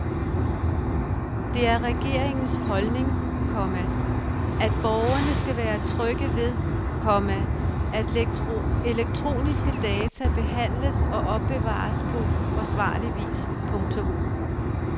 Det er regeringens holdning, komma at borgerne skal være trygge ved, komma at elektroniske data behandles og opbevares på forsvarlig vis. punktum